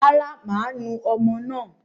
Rárá, máa nu ọmọ náà.